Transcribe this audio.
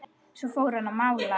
Svo fór hann að mála.